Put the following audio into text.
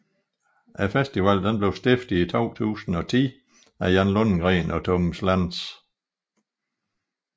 Festivalen blev stiftet i 2010 af Jan Lundgren og Thomas Lantz